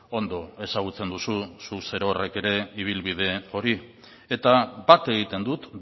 ondo ezagutzen duzu zu zerorrek ere ibilbide hori eta bat egiten dut